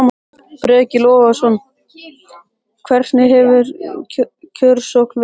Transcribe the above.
Breki Logason: Hvernig hefur kjörsókn verið?